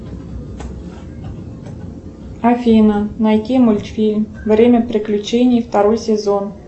афина найди мультфильм время приключений второй сезон